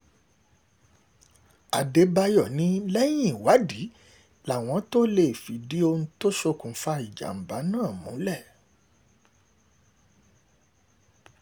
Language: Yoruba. um àdèbàyò ni lẹ́yìn ìwádìí ni àwọn tóo um lè fìdí ohun tó ṣokùnfà ìjàmbá náà múlẹ̀